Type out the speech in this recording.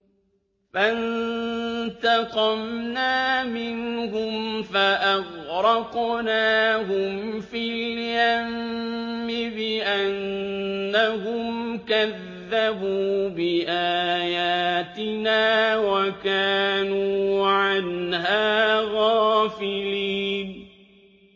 فَانتَقَمْنَا مِنْهُمْ فَأَغْرَقْنَاهُمْ فِي الْيَمِّ بِأَنَّهُمْ كَذَّبُوا بِآيَاتِنَا وَكَانُوا عَنْهَا غَافِلِينَ